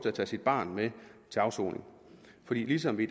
at tage sit barn med til afsoning for ligesom vi i